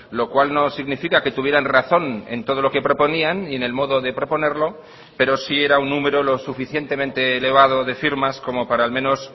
lo cual no significa que tuvieran razón en todo lo que proponían ni en el modo de proponerlo pero sí era un número lo suficientemente elevado de firmas como para al menos